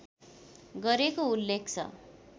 गरेको उल्लेख छ